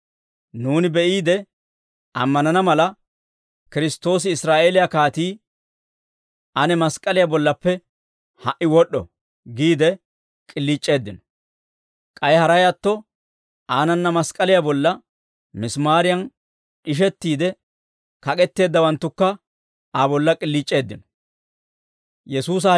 nuuni be'iide ammanana mala, Kiristtoosi Israa'eeliyaa kaatii, ane mask'k'aliyaa bollappe ha"i wod'd'o» giide k'iliic'eeddino. K'ay haray atto, aanana mask'k'aliyaa bolla misimaariyan d'ishettiide kak'etteeddawanttukka Aa bolla k'iliic'eeddino.